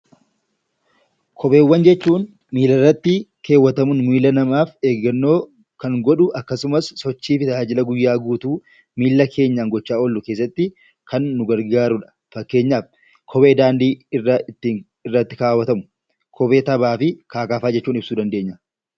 Kopheewwan jechuun miilarrattikaawwatamuun miila namaaf eeggannoo kan godhu akkasumas sochii fi tajaajila guyyaa guutuu miila keenyaan gochaa oollu keessatti kan nu gargaarudha. Fakkeenyaaf kophee daandiirra ittiin deeman, kophee taphaa fi kanneen kana fakkaatan